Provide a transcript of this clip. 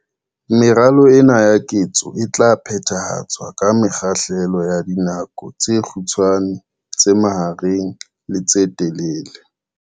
Meralo ena ya ketso e tla phethahatswa ka mekgahlelo ya dinako tse kgutshwanyane, tse mahareng le tse telele.